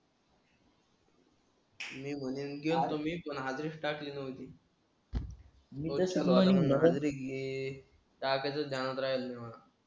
मी म्हणील गेलतो मी पण हाजरीस टाकली नवती. हाजरी टाकायची द्यानात राहिली नाही.